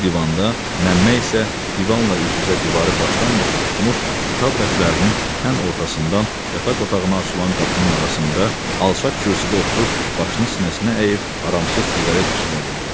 O divanda, Məmmə isə divanla üz-üzə divarı başdan-başa tutmuş, kitab rəflərinin tən ortasından yataq otağına açılan qapının arasında alçaq kürsüdə oturub başını sinəsinə əyib aramsız siqaret tüstlədirdi.